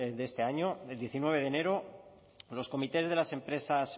de este año el diecinueve de enero los comités de las empresas